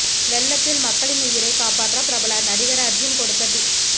வெள்ளத்தில் மக்களின் உயிரை காப்பாற்ற பிரபல நடிகர் அர்ஜுன் கொடுத்த டிப்ஸ்